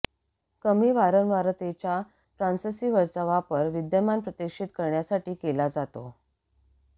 कमी वारंवारतेच्या ट्रान्ससीव्हर्सचा वापर विद्यमान प्रक्षेपित करण्यासाठी केला जातो